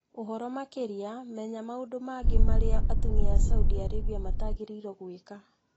Ũhoromakĩria menya maũndũ mangĩ marĩa atumia a Saudi Arabia matagĩrĩirũo gwĩka.